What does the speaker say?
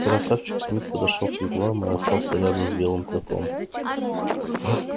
красавчик смит подошёл к вигваму и остановился рядом с белым клыком